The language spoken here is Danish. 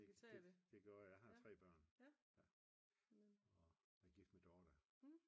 Det gjorde jeg jeg har 3 børn og er gift med Dorthe